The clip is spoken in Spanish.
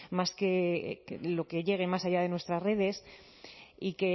más que lo que llegue más allá de nuestras redes y